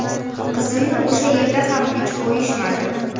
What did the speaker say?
Qizimni o‘sha yerda ham tinch qo‘yishmadi.